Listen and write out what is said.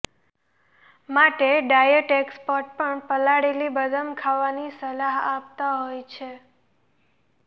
માટે diet expert પણ પલાળેલી બદામ ખાવાની સલાહ આપતા હોય છે